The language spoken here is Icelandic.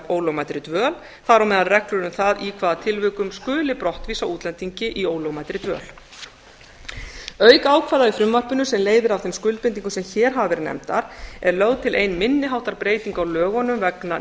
ólögmætri dvöl þar á meðal reglur um það í hvaða tilvikum skuli brottvísa útlendingi í ólögmætri dvöl auk ákvæða í frumvarpinu sem leiðir af þeim skuldbindingum sem hér hafa verið nefndar er lögð til ein minni háttar breyting á lögunum vegna